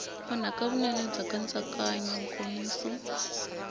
onhaka vunene bya nkatsakanyo nkomiso